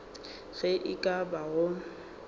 ge e ka ba go